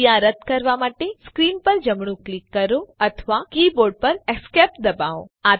ક્રિયા રદ કરવા માટે સ્ક્રીન પર જમણું ક્લિક કરો અથવા કીબોર્ડ પર Esc ડબાઓ